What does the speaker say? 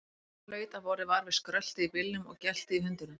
Hann hlaut að hafa orðið var við skröltið í bílnum og geltið í hundinum.